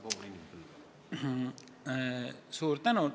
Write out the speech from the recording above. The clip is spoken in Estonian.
Suur tänu!